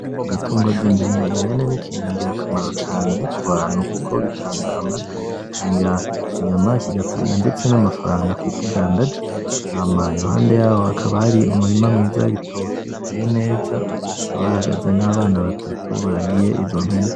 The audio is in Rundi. Ibitungwa vyimpene. Impene nikintu ngira kamaro cane kubantu kuko bitanga amata, kigatanga inyama, kigatanga ndetse namafaranga kuwukidandaje. Hama iruhande yaho hakaba hari umurima mwiza wibitoke uteye neza, hakaba hahagaze nabantu batatu baragiye izo mpene.